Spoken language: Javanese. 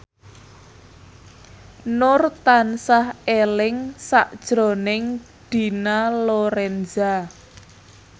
Nur tansah eling sakjroning Dina Lorenza